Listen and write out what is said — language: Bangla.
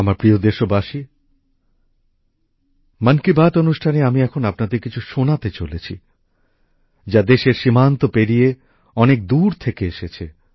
আমার প্রিয় দেশবাসী মন কি বাত অনুষ্ঠানে আমি এখন আপনাদের কিছু শোনাতে চলেছি যা দেশের সীমান্ত পেরিয়ে অনেক দূর থেকে এসেছে